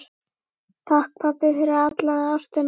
Takk, pabbi, fyrir alla ástina.